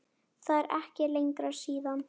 Það er ekki lengra síðan!